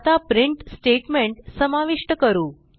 आता print statement समाविष्ट करू